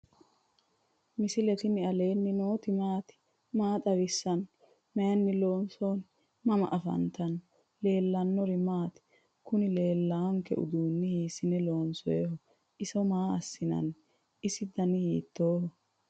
misile tini alenni nooti maati? maa xawissanno? Maayinni loonisoonni? mama affanttanno? leelishanori maati? kuunilelawonke huduni hisene lonsoyiho? iso maa asinani? isi danaai hitohi?